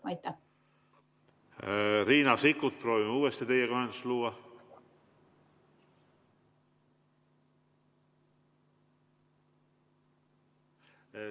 Riina Sikkut, proovime uuesti teiega ühendust luua.